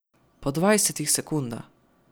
Po dvajsetih sekundah!